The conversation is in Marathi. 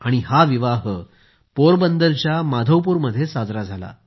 हा विवाह पोरबंदरच्या माधवपूरमध्ये साजरा झाला होता